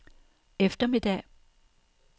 eftermiddag